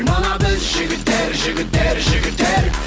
мына біз жігіттер жігіттер жігіттер